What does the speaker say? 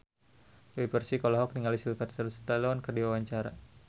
Dewi Persik olohok ningali Sylvester Stallone keur diwawancara